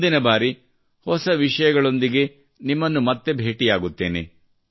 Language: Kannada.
ಮುಂದಿನ ಬಾರಿ ಹೊಸ ವಿಷಯಗಳೊಂದಿಗೆ ನಿಮ್ಮನ್ನು ಮತ್ತೆ ಭೇಟಿಯಾಗುತ್ತೇನೆ